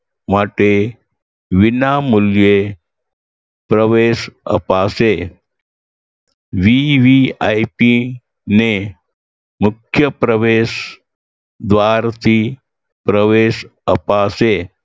માટે વિનામૂલ્યે પ્રવેશ અપાશે. VVIP ને મુખ્ય પ્રવેશદ્વારથી પ્રવેશ અપાશે